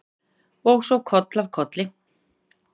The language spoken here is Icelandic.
Og svo koll af kolli.